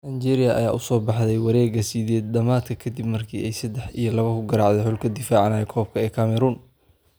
Nigeria ayaa u soo baxday wareega sideed dhamaadka kadib markii ay sedex iyo labo ku garaacday xulka difaacanaya koobka ee Cameroon.